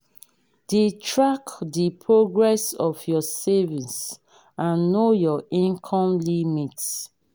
de track the progress of your savings and know your income limit